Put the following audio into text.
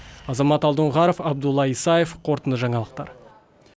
азамат алдоңғаров абдулла исаев қорытынды жаңалықтар